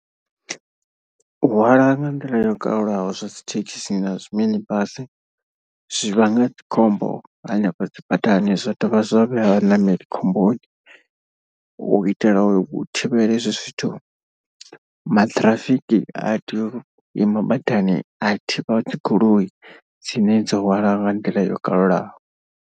U hwala nga nḓila yo kalulaho zwa dzi thekhisi na zwi mini basi zwi vhanga dzikhombo hanefha dzi badani zwa dovha zwa vhea vhaṋameli khomboni. U itela u thivhela izwo zwithu maṱhirafiki a tea u ima badani a thivha dzi goloi dzine dzo hwala nga nḓila yo kalulaho.